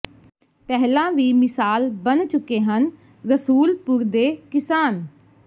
ਪਹਿਲਾਂ ਵੀ ਮਿਸਾਲ ਬਣ ਚੁੱਕੇ ਹਨ ਰਸੂਲਪੁਰ ਦੇ ਕਿਸਾਨ